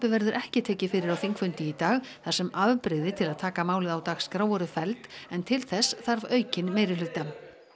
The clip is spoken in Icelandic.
verður ekki tekið fyrir á þingfundi í dag þar sem afbrigði til að taka málið á dagskrá voru felld en til þess þarf aukinn meirihluta